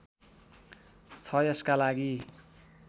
छ यसका लागि